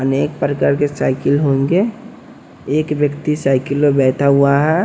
अनेक प्रकार के साइकिल होंगे एक व्यक्ति साइकिल में बैठा हुआ है।